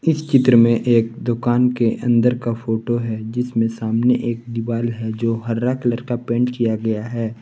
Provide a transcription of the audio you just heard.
इस चित्र में एक दुकान के अंदर का फोटो है जिसमें सामने एक दिवाल है जो हरा कलर का पेंट किया गया है।